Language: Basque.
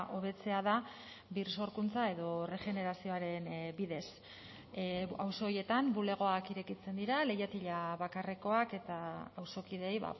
hobetzea da birsorkuntza edo erregenerazioaren bidez auzo horietan bulegoak irekitzen dira leihatila bakarrekoak eta auzokideei